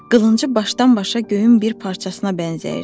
Qılıncı başdan-başa göyün bir parçasına bənzəyirdi.